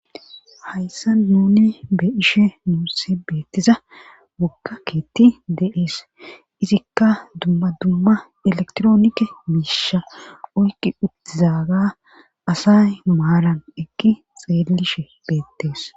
Hayssa nuni be ishe nuusse beettiza wokka keetti deees izikka dumma dumma elektroonike miisha oykki uttizaga asay nu maaran ekki xeellishe beettees.